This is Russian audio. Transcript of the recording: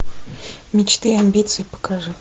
мечты амбиции покажи